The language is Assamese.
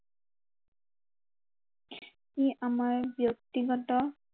ই আমাৰ ব্য়ক্তিগত